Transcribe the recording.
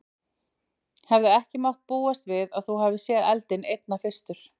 Hefði ekki mátt búast við að þú hefðir séð eldinn einna fyrstur?